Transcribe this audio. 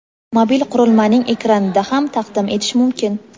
mobil qurilmaning ekranida ham taqdim etish mumkin;.